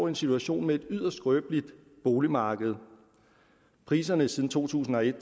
en situation med et yderst skrøbeligt boligmarked priserne har siden to tusind og et